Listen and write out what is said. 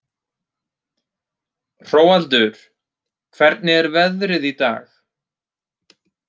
Hróaldur, hvernig er veðrið í dag?